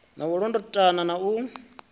na u londotana na u